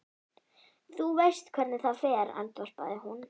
Þú veist hvernig það fer, andvarpaði hún.